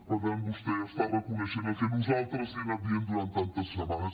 per tant vostè està reconeixent el que nosaltres li hem anat dient durant tantes setmanes